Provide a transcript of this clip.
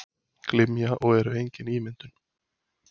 Glymja og eru engin ímyndun.